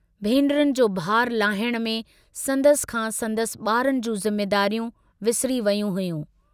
भेनरुनि जो भारु लाहणे में संदसि खां संदसि बारनि जूं जिम्मेदारियूं विसरी वेयूं हुयूं।